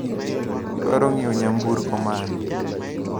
Idwaro nyiewo nyamburko mane?